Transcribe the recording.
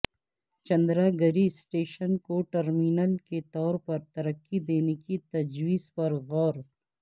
Chandragiri station کو terminal کے طور پر ترقی دینے کی تجویز پرغور